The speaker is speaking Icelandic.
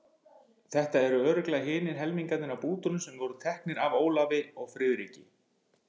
Þetta eru örugglega hinir helmingarnir af bútunum sem voru teknir af Ólafi og Friðriki.